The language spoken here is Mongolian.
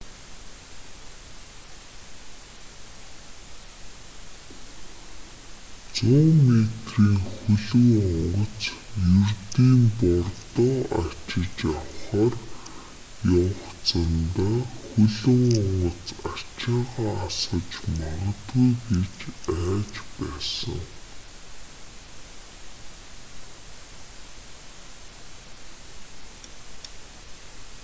100 метрийн хөлөг онгоц ердийн бордоо ачиж авахаар явах замдаа хөлөг онгоц ачаагаа асгаж магадгүй гэж айж байсан